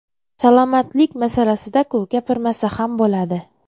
Salomatlik masalasida-ku, gapirmasa ham bo‘ladi.